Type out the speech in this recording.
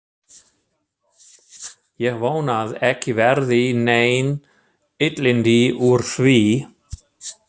Ég vona að ekki verði nein illindi úr því.